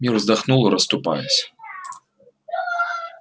мир вздохнул расступаясь